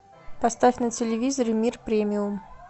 поставь на телевизоре мир премиум